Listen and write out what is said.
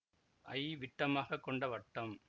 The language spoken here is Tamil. ஐ விட்டமாகக் கொண்ட வட்டம்